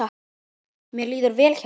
Mér líður vel hérna.